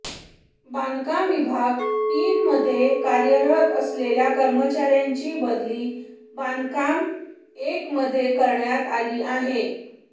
बांधकाम विभाग तीन मध्ये कार्यरत असलेल्या कर्मचार्याची बदली बांधकाम एकमध्ये करण्यात आली आहे